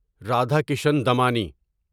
Radhakishan Damani